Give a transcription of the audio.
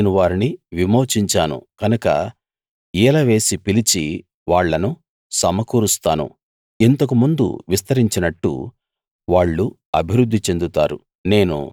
నేను వారిని విమోచించాను కనుక ఈల వేసి పిలిచి వాళ్ళను సమకూరుస్తాను ఇంతకు ముందు విస్తరించినట్టు వాళ్ళు అభివృద్ది చెందుతారు